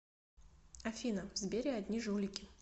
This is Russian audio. афина в сбере одни жулики